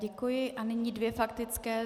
Děkuji a nyní dvě faktické.